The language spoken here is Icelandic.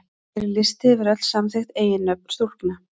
Hér er listi yfir öll samþykkt eiginnöfn stúlkna.